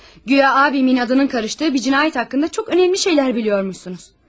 Guya abimin adının qarışdığı bir cinayət haqqında çox önəmli şeylər bilirmişsiniz.